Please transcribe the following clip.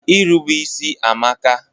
Irube isi amaka.